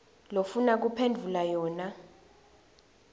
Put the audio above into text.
lofuna kuphendvula yona